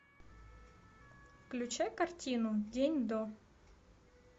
включай картину день до